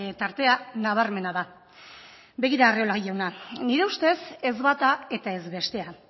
tartea nabarmena da begira arriola jauna nire ustez ez bata eta ez bestea